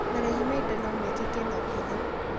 Marĩhi ma indo no mekĩke na ũhũthũ.